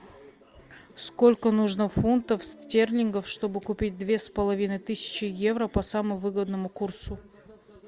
сколько нужно фунтов стерлингов чтобы купить две с половиной тысячи евро по самому выгодному курсу